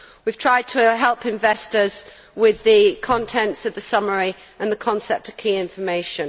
We have tried to help investors with the contents of the summary and the concept of key information.